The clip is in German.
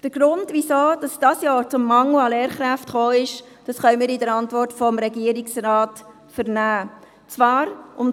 Der Grund, weshalb es dieses Jahr zu einem Mangel an Lehrkräften kam, können wir der Antwort des Regierungsrates entnehmen.